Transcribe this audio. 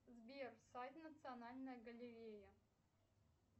сбер сайт национальная галерея